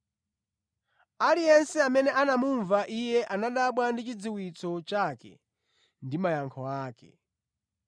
Aliyense amene anamumva Iye anadabwa ndi chidziwitso chake ndi mayankho ake.